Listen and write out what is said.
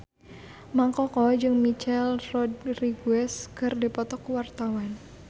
Mang Koko jeung Michelle Rodriguez keur dipoto ku wartawan